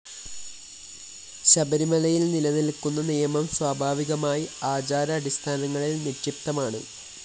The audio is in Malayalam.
ശബരിമലയില്‍ നിലനില്‍ക്കുന്ന നിയമം സ്വാഭാവികമായി ആചാര അടിസ്ഥാനങ്ങളില്‍ നിക്ഷിപ്തമാണ്